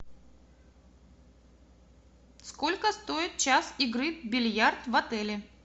сколько стоит час игры в бильярд в отеле